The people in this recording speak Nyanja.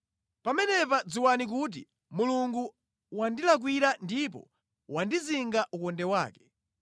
pamenepa dziwani kuti Mulungu wandilakwira ndipo wandizinga ukonde wake.